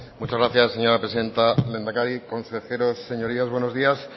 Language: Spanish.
muchas gracias señora presidenta isiltasuna mesedez lehendakari consejeros señorías buenos días